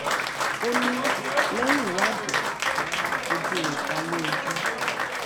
ó ní lẹyìn ìwádìí làwọn máa fojú rẹ balẹẹjọ